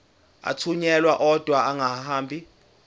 athunyelwa odwa angahambi